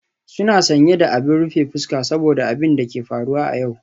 Suna sanye da abin rufe fuska saboda abin da ke faruwa a yau.